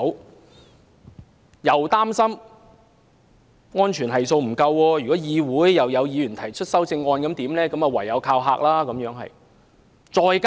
政府既擔心安全系數不足，又怕議員會提出修正案，於是唯有"靠嚇"。